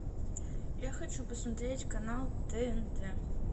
я хочу посмотреть канал тнт